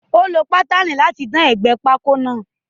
Ó lọ paneli láti dán ègbé pákó náà.